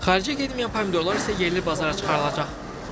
Xaricə getməyən pomidorlar isə yerli bazara çıxarılacaq.